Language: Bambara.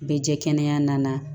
Bɛ jɛ kɛnɛya nana